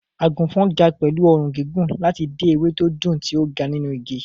Àgùnfọ̀n ga pẹ̀lú ọrùn gígùn láti dé ewé tó dùn tí ó ga nínú igi.